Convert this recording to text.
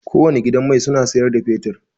Kowane gidan mai suna siyar da fetur.